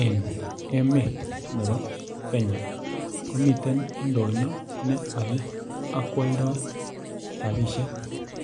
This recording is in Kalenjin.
En emet nebo Kenya komiten ndonyo ne ole ak kwoldoi robishek